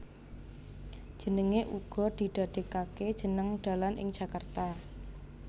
Jenenge uga didadekake jeneng dalan ing Jakarta